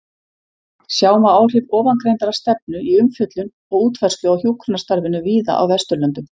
Sjá má áhrif ofangreindrar stefnu í umfjöllun og útfærslu á hjúkrunarstarfinu víða á Vesturlöndum.